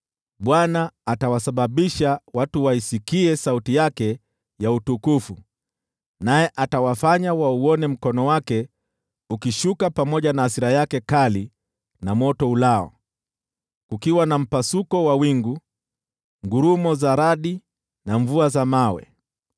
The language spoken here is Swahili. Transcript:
Bwana atawasababisha watu waisikie sauti yake ya utukufu, naye atawafanya wauone mkono wake ukishuka pamoja na hasira yake kali na moto ulao, kukiwa na tufani ya mvua, ngurumo za radi na mvua ya mawe.